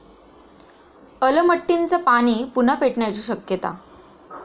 अलमट्टीचं पाणी पुन्हा पेटण्याची शक्यता!